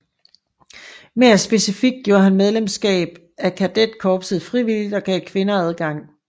Mere specifikt gjorde han medlemskab af kadetkorpset frivilligt og gav kvinder adgang